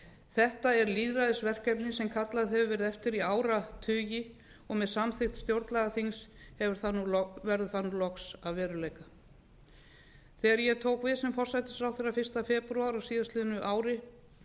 þetta er lýðræðisverkefni sem kallað hefur verið eftir í áratugi og sem samþykkt stjórnlagaþings verður það loks að veruleika þegar ég tók við sem forsætisráðherra fyrsta febrúar á síðastliðnu ári